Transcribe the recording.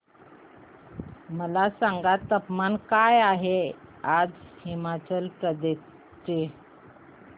मला सांगा तापमान काय आहे आज हिमाचल प्रदेश चे